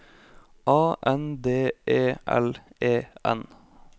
A N D E L E N